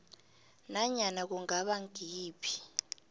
nanyana kungaba ngayiphi